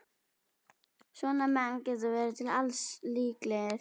Svona menn geta verið til alls líklegir.